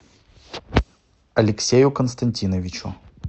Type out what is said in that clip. алексею константиновичу